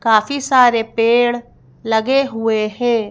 काफी सारे पेड़ लगे हुए हैं।